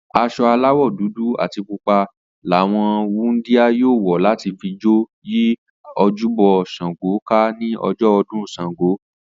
As̩o̩ aláwò̩ dúdú àti pupa làwo̩n wúndíá yóò wò̩ láti fi jó yí ojúbo̩ S̩àngó ká ní o̩jo̩ o̩dún S̩àngó